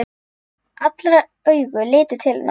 Allra augu litu til hennar.